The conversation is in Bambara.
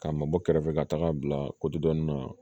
K'a mabɔ kɛrɛfɛ ka taga bila dɔnni na